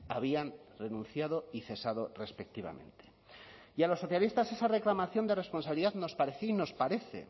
habían renunciado y cesado respectivamente y a los socialistas esa reclamación de responsabilidad nos parecía y nos parece